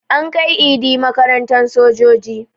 An kai Idi makarantan sojoji